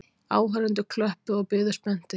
Áhorfendur klöppuðu og biðu spenntir.